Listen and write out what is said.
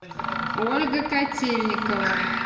ольга котельникова